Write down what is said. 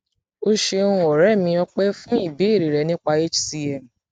o ṣeun ọrẹ o ṣeun ọrẹ mi ọpẹ fún ìbéèrè rẹ nípa hcm